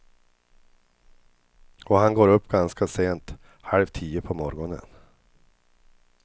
Och han går upp ganska sent, halv tio på morgonen.